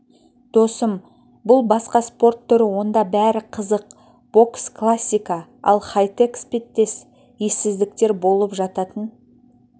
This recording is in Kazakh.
досым бұлбасқа спорт түрі онда бәрі қызық бокс классика ал хай-тек іспеттес ессіздіктер болып жататын